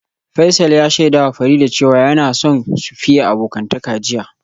Faisal ya shaidawa Farida cewa yana son su fiye abokantaka jiya